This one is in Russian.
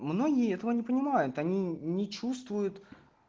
многие этого не понимают они не чувствуют